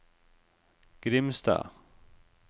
Grimstad